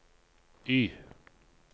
Y